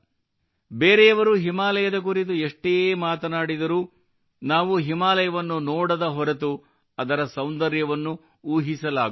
ಬೇರೆಯವರು ಹಿಮಾಲಯದ ಕುರಿತು ಎಷ್ಟೇ ಮಾತನಾಡಿದರೂ ನಾವು ಹಿಮಾಲಯವನ್ನು ನೋಡದ ಹೊರತು ಅದರ ಸೌಂದರ್ಯವನ್ನು ಊಹಿಸಲಾಗುವುದಿಲ್ಲ